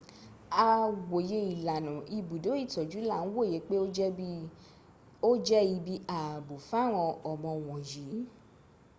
a wòye ilànà ibùdó itọ́jú là ń wòye pé ó jẹ́ ibi ààbò fáwọn ọmọ wọ̀nyìí